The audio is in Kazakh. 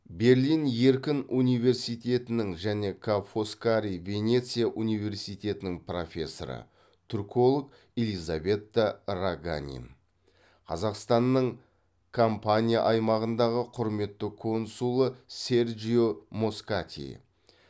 берлин еркін университетінің және ка фоскари венеция университетінің профессоры түрколог элизабетта раганин қазақстанның кампания аймағындағы құрметті консулы серджио москати